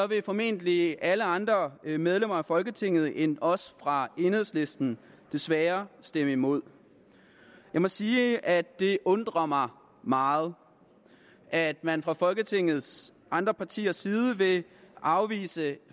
vil formentlig alle andre medlemmer af folketinget end os fra enhedslisten desværre stemme imod jeg må sige at det undrer mig meget at man fra folketingets andre partiers side vil afvise